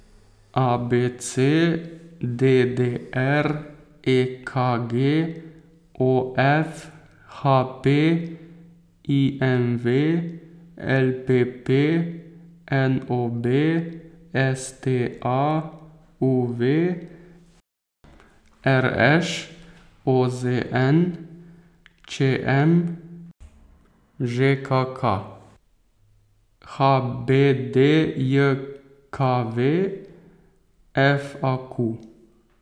A B C; D D R; E K G; O F; H P; I M V; L P P; N O B; S T A; U V; R Š; O Z N; Č M; Ž K K; H B D J K V; F A Q.